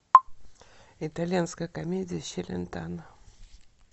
итальянская комедия с челентано